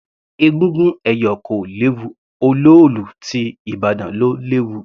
Egúngún ẹ̀yọ̀ kò léwu, olóòlù ti ìbàdàn ló léwu.